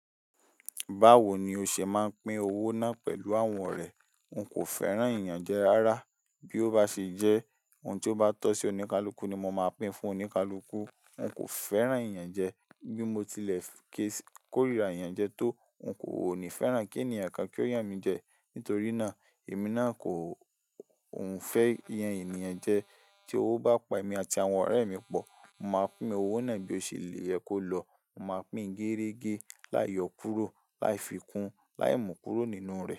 Báwo ni o ṣe máa ń pín owó náà pẹ̀lú àwọn ọ̀rẹ́? N kò fẹ́ràn ìyànjẹ rárá. Bí ó bá ṣe jẹ́, ohun tí ó bá tọ́ sí oníkálukú ni mo máa pín fún oníkálukú. N kò fẹ́ràn ìyànjẹ. Bí mo tilẹ̀ kí kórìíra iyàn jẹ tó, n kò ní fẹ́ràn kí ẹ̀nìyẹn kan kí ó yàn mí jẹ. Nítorí náà, èmi náà kò ń fẹ́ yan èèyàn jẹ. Tí owó bá pa èmi àti àwọn ọ̀rẹ́ mi pọ̀, màá pín owó náà bí ó ṣe leè ye kó lọ. Màá pín géérégé, láiyo kúrò, láífikún, láìmu kúrò nínú rẹ̀.